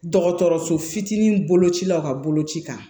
Dɔgɔtɔrɔso fitinin bolocilaw ka boloci kan